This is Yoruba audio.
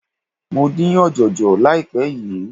Mo dín ọ̀jọ̀jọ̀ láìpé yìí.